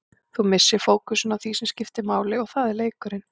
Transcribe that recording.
Þú missir fókusinn á því sem skiptir máli og það er leikurinn.